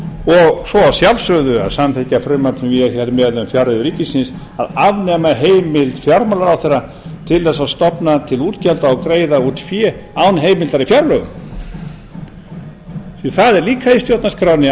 og svo að sjálfsögðu að samþykkja frumvarp sem ég er með um fjárreiður ríkisins að afnema heimild fjármálaráðherra til að stofna til útgjalda og greiða út fé án heimildar í fjárlögum það er líka í stjórnarskránni ákvæði